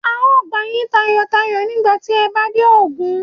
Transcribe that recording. A ó gbà yín tọ̀yàyàtọ̀yàyà nígbà tí ẹ bá dé Ogun.